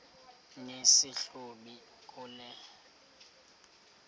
nesi hlubi kule